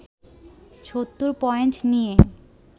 ৭০ point নিয়ে